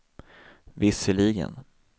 visserligen